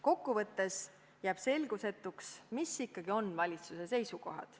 Kokkuvõttes jääb selgusetuks, millised ikkagi on valitsuse seisukohad.